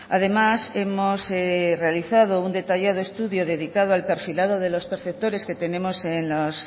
además hemos realizado un detallado estudio dedicado al perfilado de los perceptores que tenemos en las